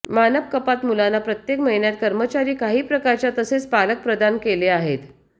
मानक कपात मुलांना प्रत्येक महिन्यात कर्मचारी काही प्रकारच्या तसेच पालक प्रदान केले आहेत